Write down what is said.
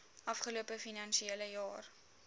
afgelope finansiële jaar